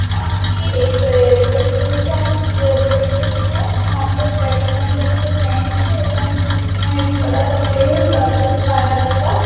हा ये एक रेल्वे स्टेशन रेल्वे स्टेशन है जहाँ पे बैठने के लिए बेंच है ये बेंच में बड़ा सा पेड़ है जो आपको छाया देगा --